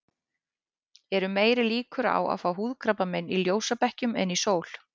Eru meiri líkur á að fá húðkrabbamein í ljósabekkjum en í sól?